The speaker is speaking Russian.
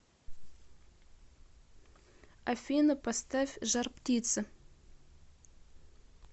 афина поставь жар птица